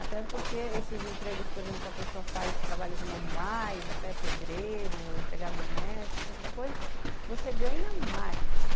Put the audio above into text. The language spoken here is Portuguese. Até porque esses empregos, por exemplo, que a pessoa faz trabalhos manuais, até pedreiro, empregada doméstica, essas coisas, você ganha mais.